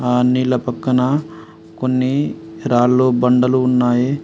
ఆ నీళ్ళ పక్కన కొన్ని రాళ్ళు బండలు ఉన్నాయి.